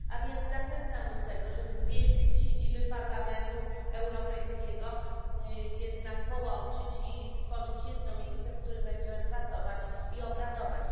A więc zachęcam do tego, żeby dwie siedziby Parlamentu Europejskiego jednak połączyć i stworzyć jedno miejsce, w którym będziemy pracować i obradować.